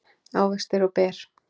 ávextir og ber